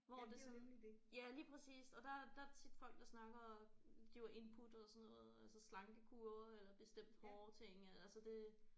Hvor det sådan ja lige præcist og der der er tit folk der snakker og giver input og sådan noget øh altså slankekure eller bestemt hårting eller altså det